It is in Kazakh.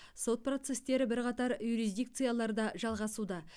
сот процестері бірқатар юрисдикцияларда жалғасуда